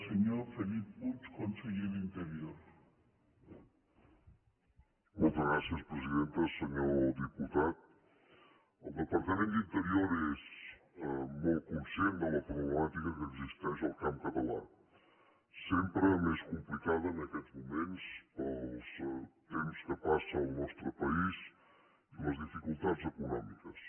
senyor diputat el departament d’interior és molt conscient de la problemàtica que existeix al camp català sempre més complicada en aquests moments pels temps que passa el nostre país i les dificultats econòmiques